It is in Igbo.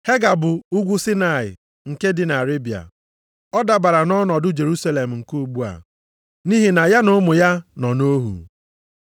Hega bụ Ugwu Saịnaị nke dị nʼArebịa. Ọ dabara nʼọnọdụ Jerusalem nke ugbu a, nʼihi na ya na ụmụ ya nọ nʼohu.